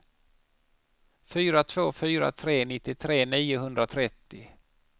fyra två fyra tre nittiotre niohundratrettio